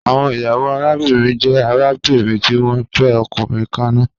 Awọn iyawo arabinrin jẹ arabinrin ti wọn fẹ ọkunrin kanna